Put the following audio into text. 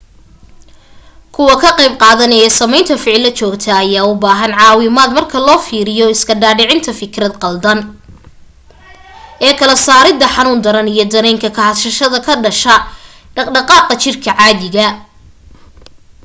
kuwa ka qeyb qaadanaye sameynta ficilo joogta ayaa u baahna caawinad marka loo fiiriyo iska dhaadhicinta fikrad qaldan ee kala saarida xanuun daran iyo dareenka kahashada ka dhasha dhaqdhaqaaqa jirka caadiga